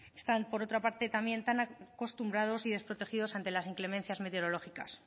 están por otra parte también tan acostumbrados y desprotegidos ante las inclemencias meteorológicas